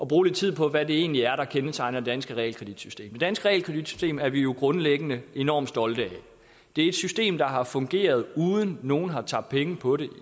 bruge lidt tid på hvad det egentlig er der kendetegner det danske realkreditsystem det danske realkreditsystem er vi jo grundlæggende enormt stolte af det er et system der har fungeret uden at nogen har tabt penge på det